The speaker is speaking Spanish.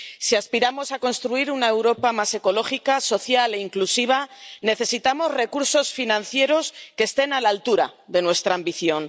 Si aspiramos a construir una Europa más ecológica, social e inclusiva, necesitamos recursos financieros que estén a la altura de nuestra ambición.